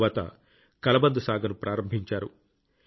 తరువాత కలబంద సాగును ప్రారంభించారు